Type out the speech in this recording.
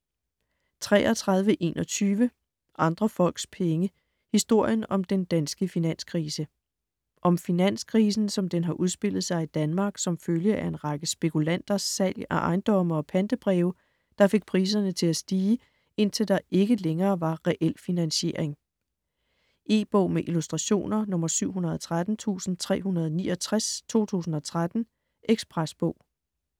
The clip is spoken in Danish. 33.21 Andre folks penge: historien om den danske finanskrise Om finanskrisen som den har udspillet sig i Danmark som følge af en række spekulanters salg af ejendomme og pantebreve der fik priserne til at stige, indtil der ikke længere var reel finansiering. E-bog med illustrationer 713369 2013. Ekspresbog